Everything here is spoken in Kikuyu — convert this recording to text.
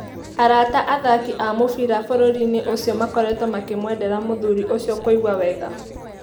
Arata athaki a mũbira bũrũrinĩ ũcio makoretwo makĩmwendera mũthuri ũcio kũigua wega.